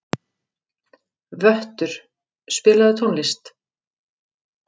Vöttur, spilaðu tónlist.